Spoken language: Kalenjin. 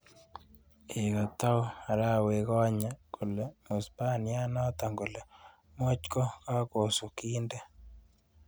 Eng kotou arewekonye, kole mwispaniate noto kole moch ko kakosu kintee.